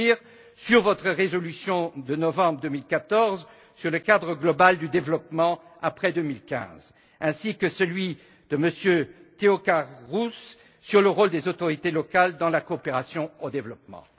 Stier sur votre résolution de novembre 2014 sur le cadre global du développement après 2015 ainsi que celui de Mme Theocharous sur le rôle des autorités locales dans la coopération au développement.